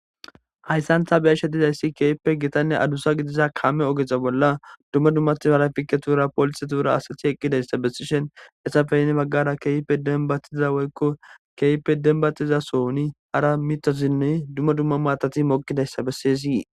hayssantha biyashetizayssi keyipe gitanne adusa gidiza kaame ogeta bolla dumma dummathi harafike tuura polise tuura asati eqqidayssa bessishen essafeynne baggara kepe denbatiza woykko keype denbatiza sohoni hara mitosinne dumma dumma maatati moqidayssa besseyysii